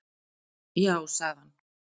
Já, sagði hann.